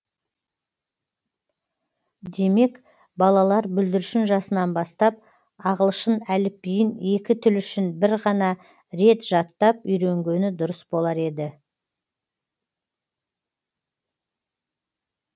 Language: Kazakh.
демек балалар бүлдіршін жасынан бастап ағылшын әліпбиін екі тіл үшін бір ғана рет жаттап үйренгені дұрыс болар еді